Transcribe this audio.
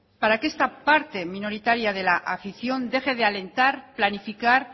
para que esta parte minoritaria de la afición deje de alentar planificar